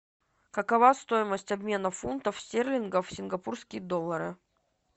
какова стоимость обмена фунтов стерлингов в сингапурские доллары